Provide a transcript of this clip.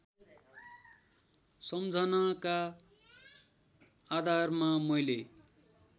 सम्झनाका आधारमा मैले